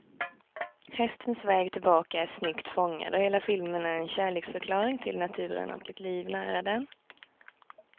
Hästens väg tillbaka är snyggt fångad, och hela filmen är en kärleksförklaring till naturen och ett liv nära den.